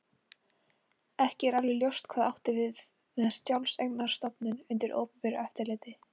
Ekki er alveg ljóst hvað átt er við með sjálfseignarstofnun undir opinberu eftirliti.